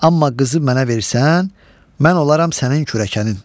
Amma qızı mənə versən, mən olaram sənin kürəkənin.